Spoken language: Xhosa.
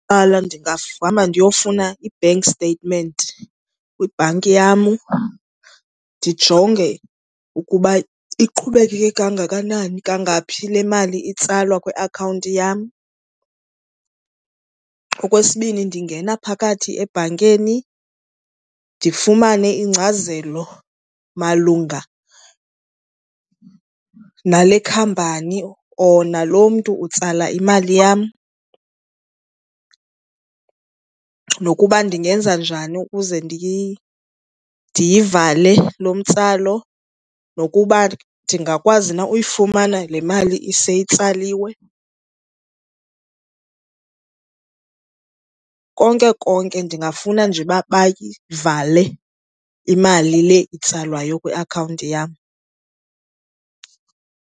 Okokuqala, ndingahamba ndiyofuna i-bank statement kwibhanki yam, ndijonge ukuba iqhubekeke kangakanani kangaphi le mali itsalwa kwiakhawunti yam. Okwesibini, ndingena phakathi ebhankeni ndifumane ingcazelo malunga nale khampani or nalo mntu utsala imali yam nokuba ndingenza njani ukuze ndiyivale lo mtsalo nokuba ndingakwazi na uyifumana le mali ise itsaliswe. Konke konke ndingafuna nje uba bayivale imali le itsalwayo kwiakhawunti yam.